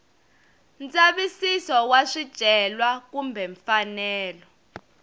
ndzavisiso wa swicelwa kumbe mfanelo